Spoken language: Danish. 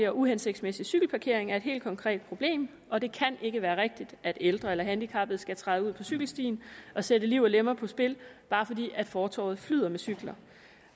og uhensigtsmæssig cykelparkering er et helt konkret problem og det kan ikke være rigtigt at ældre og handicappede skal træde ud på cykelstien og sætte liv og lemmer på spil bare fordi fortovet flyder med cykler